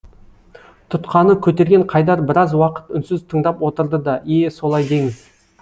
тұтқаны көтерген қайдар біраз уақыт үнсіз тыңдап отырды да е солай деңіз